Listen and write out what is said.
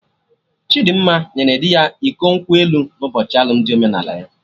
Chidimma nyere dị ya iko nkwụ elu na ụbochi alụmdi omenala ya